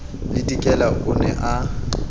le dikela o ne a